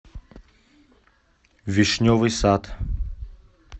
вишневый сад